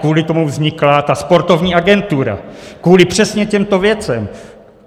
Kvůli tomu vznikla ta sportovní agentura, kvůli přesně těmto věcem.